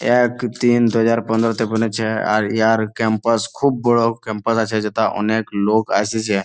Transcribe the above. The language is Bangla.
এক তিন দু হাজার পনেরোতে ওপেন হছে আর ইহার ক্যাম্পাস খুব বড়ো ক্যাম্পাস আছে যেথা অনেক লোক আসিছে ।